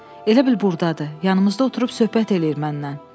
Elə bil burdadır, yanımızda oturub söhbət eləyir məndən.